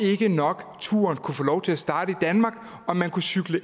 ikke nok kunne få lov til at starte i danmark og man kunne cykle